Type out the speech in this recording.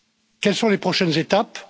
Quelles sont les prochaines étapes?